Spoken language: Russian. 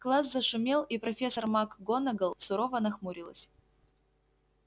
класс зашумел и профессор макгонагалл сурово нахмурилась